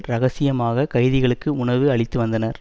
ரகசியமாக கைதிகளுக்கு உணவு அளித்து வந்தனர்